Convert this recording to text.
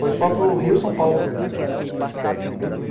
Foi só para o Rio e São Paulo.